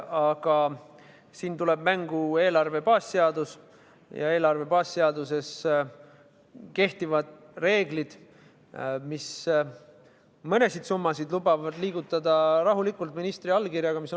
Aga siin tuleb mängu eelarve baasseadus ja eelarve baasseaduses kehtivad reeglid, mis lubavad mõnesid summasid, mis on oluliselt suuremad, liigutada rahulikult ministri allkirjaga.